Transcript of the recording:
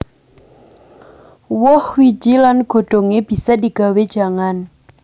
Woh wiji lan godhongé bisa digawé jangan